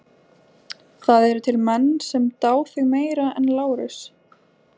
Það eru til menn sem dá þig meira en Lárus.